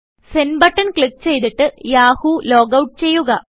send button click ചെയ്തതിട്ട് Yahoo logout ചെയ്യുക